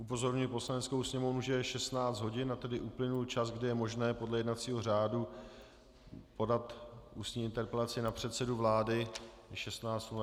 Upozorňuji Poslaneckou sněmovnu, že je 16 hodin, a tedy uplynul čas, kdy je možné podle jednacího řádu podat ústní interpelaci na předsedu vlády.